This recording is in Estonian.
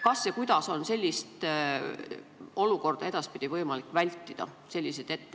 Kas ja kuidas on sellist olukorda ja etteheiteid edaspidi võimalik vältida?